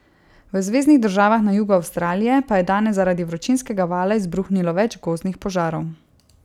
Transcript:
V zveznih državah na jugu Avstralije pa je danes zaradi vročinskega vala izbruhnilo več gozdnih požarov.